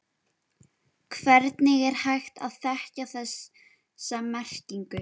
Hvernig er hægt að þekkja þessa merkingu?